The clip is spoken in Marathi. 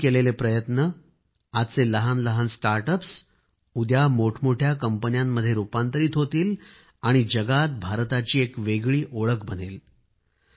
आपण केलेले प्रयत्न आजचे लहानलहान स्टार्ट अप्स उद्या मोठमोठ्या कंपनीत रूपांतरित होतील आणि जगामध्ये भारताची एक वेगळीच ओळख बनेल